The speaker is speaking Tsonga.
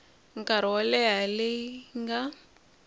nkarhi wo leha leyi nga